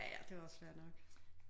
Ja ja det er også fair nok